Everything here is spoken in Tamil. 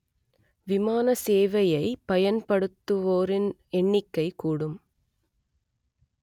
விமான சேவையை பயன்படுத்துவோரின் எண்ணிக்கைக் கூடும்